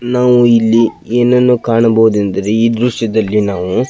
ನಾವು ಇಲ್ಲಿ ಏನನ್ನು ಕಾಣಬಹುದು ಎಂದರೆ ಈ ದ್ರಶ್ಯದಲ್ಲಿ ನಾವು --